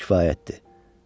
Bax belə, kifayətdir.